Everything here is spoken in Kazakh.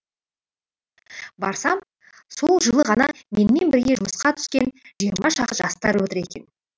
барсам сол жылы ғана менімен бірге жұмысқа түскен жиырма шақты жастар отыр екен